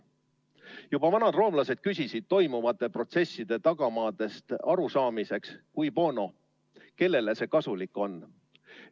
Juba vanad roomlased küsisid toimuvate protsesside tagamaadest arusaamiseks "Cui bono?" ehk "Kellele see kasulik on?".